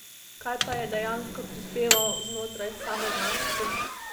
Kaj pa je dejansko prispeval znotraj same znanosti?